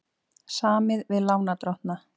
Samið við lánardrottna